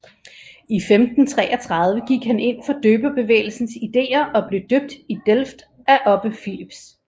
I 1533 gik han ind for døberbevægelsens ideer og blev døbt i Delft af Obbe Philips